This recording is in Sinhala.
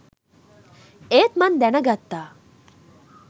ඒත් මං දැනගත්තා